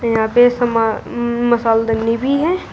यहां पे मसाला दानी भी है।